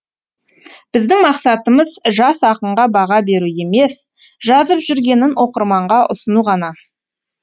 біздің мақсатымыз жас ақынға баға беру емес жазып жүргенін оқырманға ұсыну ғана